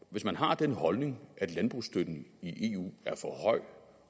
hvis man har den holdning at landbrugsstøtten i eu er for høj